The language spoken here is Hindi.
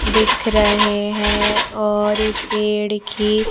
दिख रहे हैं और ये पेड़ की--